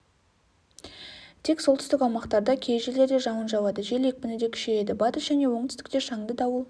тек солтүстік аумақтарда кей жерлерде жауын жауады жел екпіні де күшейеді батыс және оңтүстікте шаңды дауыл